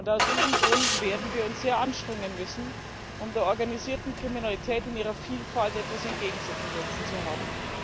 Aus diesem Grund werden wir uns sehr anstrengen müssen, um der organisierten Kriminalität in ihrer Vielfalt etwas entgegenzusetzen zu haben.